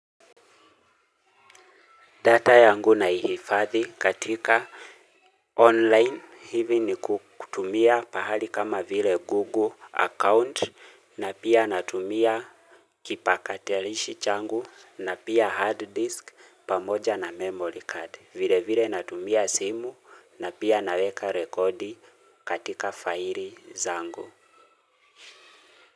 Data yangu naihifadhi katika online hivi ni kutumia pahali kama vile google account na pia natumia kipakaterishi changu na pia hard disk pamoja na memory card vile vile natumia simu na pia naweka rekodi katika faili zangu.